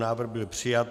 Návrh byl přijat.